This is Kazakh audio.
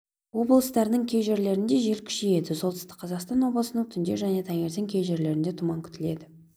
облыстарының кей жерлерінде жел күшейеді солтүстік қазақстан облысының түнде және таңертең кей жерлерінде тұман күтіледі